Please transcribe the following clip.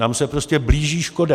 Nám se prostě blíží škoda.